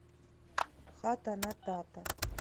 хата на тата